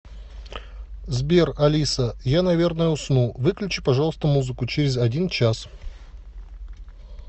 сбер алиса я наверное усну выключи пожалуйста музыку через один час